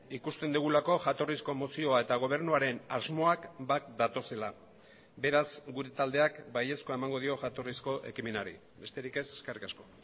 ikusten dugulako jatorrizko mozioa eta gobernuaren asmoak bat datozela beraz gure taldeak baiezkoa emango dio jatorrizko ekimenari besterik ez eskerrik asko